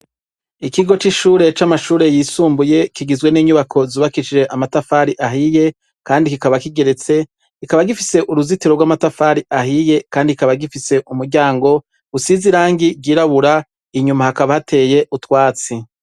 Ikigo c'ishure c'amashure yisumbuye kigizwe n'inyubako zubakishije amatafari ahiye kandi kikaba kigeretse kikaba gifise uruzitiro rw'amatafari ahiye kandi kikaba gifise umuryango usize irangi ryirabura inyuma hakaba hateye utwatsi.